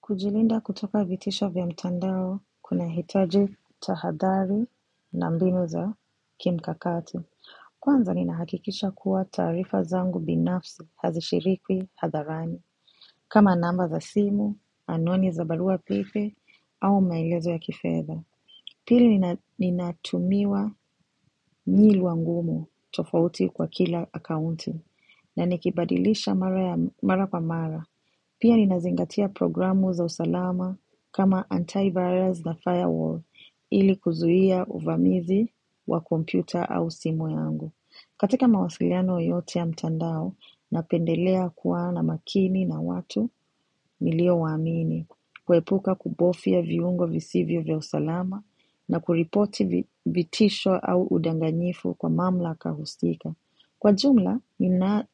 Kujilinda kutoka vitisho vya mtandao kuna hitaji tahadhari na mbinu za kimkakati. Kwanza ninaha kikisha kuwa taarifa zangu binafsi hazishirikwi hadharani. Kama namba za simu, anuani za barua pepe, au maelezo ya kifedha. Pili ni natumiwa nilwa ngumu tofauti kwa kila akaunti, na nikibadilisha mara kwa mara. Pia ni nazingatia programu za usalama kama anti virurs na firewall ili kuzuia uvamizi wa kompyuta au simu yangu. Katika mawasiliano yoyote ya mtandao na pendelea kuwa na makini na watu nilio waamini kuepuka kubofia viungo visivyo vya usalama na kuripoti vi vitisho au udanganyifu kwa mamlaka husika. Kwa jumla, nina